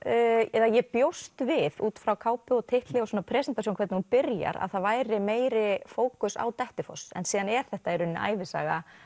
eða ég bjóst við út frá kápu og titli og svona presentasjón hvernig hún byrjar að það væri meiri fókus á Dettifoss en síðan er þetta í rauninni ævisaga